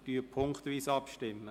Wir stimmen punktweise ab.